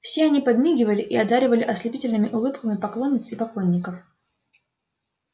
все они подмигивали и одаривали ослепительными улыбками поклонниц и поклонников